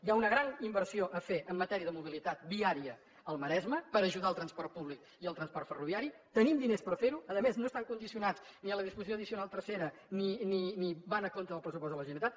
hi ha una gran inversió a fer en matèria de mobilitat viària al maresme per ajudar el transport públic i el transport ferroviari tenim diners per fer ho a més no estan condicionats per la disposició addicional tercera ni van a compte del pressupost de la generalitat